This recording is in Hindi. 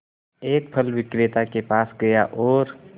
एक फल विक्रेता के पास गया और